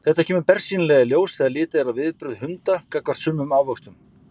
Þetta kemur bersýnilega í ljós þegar litið er á viðbrögð hunda gagnvart sumum ávöxtum.